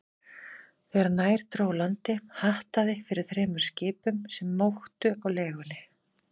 Þegar nær dró landi, hattaði fyrir þremur skipum, sem móktu á legunni.